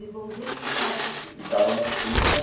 E os irmãos dele ficaram na Síria? Ficaram na Síria.